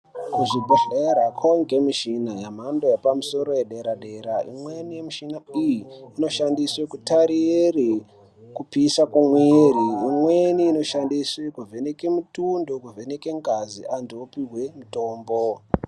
Kuzvibhedhlera kwavanikwa michina yemhando yepamusoro yedera-dera. Imweni yemishina iyi inoshandiswe kutarire kupisa kwemwiri. Imwe inoshandiswe kuvheneke mutundo kuvheneke ngazi antu opihwe mutombo.